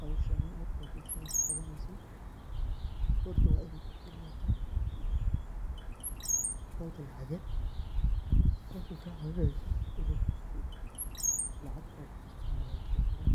Howshaani markad bulshada kaqawaneysidh horta wa inay kufurnata account lacaged, taas oo kacawineyso inay gofku lacag ogujirto ama logusodiro,